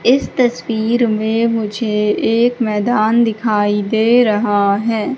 इस तस्वीर में--